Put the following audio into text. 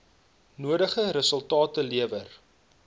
nodige resultate lewer